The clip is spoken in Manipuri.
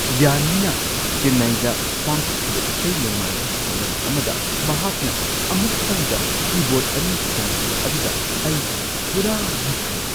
ꯌꯥꯟꯅꯤꯅ ꯆꯦꯟꯅꯥꯏꯗ ꯄꯥꯡꯊꯣꯛꯈꯤꯕ ꯏꯁꯩ-ꯅꯣꯡꯃꯥꯏꯒꯤ ꯊꯧꯔꯝ ꯑꯃꯗ ꯃꯍꯥꯛꯅ ꯑꯃꯨꯛꯇꯪꯗ ꯀꯤꯕꯣꯔꯗ ꯲ ꯈꯣꯡꯈꯤꯕ ꯑꯗꯨꯗ ꯑꯩ ꯄꯨꯔꯥ ꯉꯛꯈ꯭ꯔꯦ ꯫